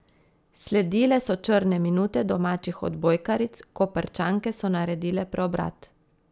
Sledile so črne minute domačih odbojkaric, Koprčanke so naredile preobrat.